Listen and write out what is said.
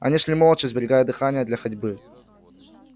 они шли молча сберегая дыхание для ходьбы